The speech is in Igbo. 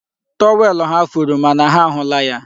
Tọwel ha furu, mana ha ahụla ya.